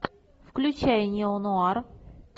включай неонуар